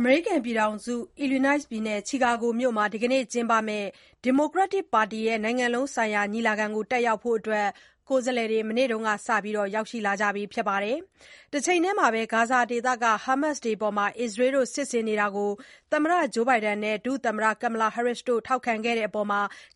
အမေရိကန် ပြည်ထောင်စု Illinois ပြည်နယ်၊ Chicago မြို့မှာ ဒီကနေ့ ကျင်းပမယ့် ဒီမိုကရက်တစ်ပါတီရဲ့ နိုင်ငံလုံးဆိုင်ရာ ညီလာခံကို တက်ရောက်ဖို့ ကိုယ်စားလှယ်တွေ မနေ့ကစရောက်လာနေကြပါပြီ။ တချိန်တည်းမှာပဲ ဂါဇာဒေသက ဟားမတ်စ်တွေအပေါ် အစ္စရေးက စစ်ဆင်နေတာကို သမ္မတ Joe Biden နဲ့ ဒုသမ္မတ Kamala Harris က ထောက်ခံနေတဲ့အပေါ်